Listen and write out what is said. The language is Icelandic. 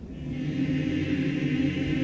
í